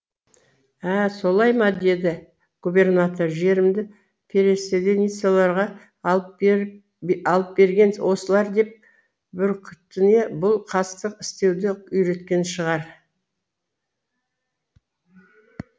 ә солай ма деді губернатор жерімді переселеницаларға алып берген осылар деп бүркітіне бұл қастық істеуді үйреткен шығар